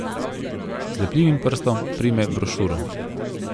Z lepljivim prstom prime brošuro.